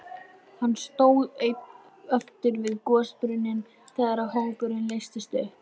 Hann stóð einn eftir við gosbrunninn þegar hópurinn leystist upp.